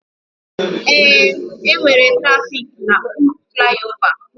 Ee, enwere trafiki na okpuru flaiova